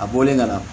A bɔlen ka na